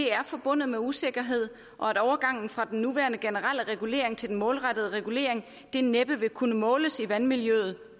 er forbundet med usikkerhed og at overgangen fra den nuværende generelle regulering til den målrettede regulering næppe vil kunne måles i vandmiljøet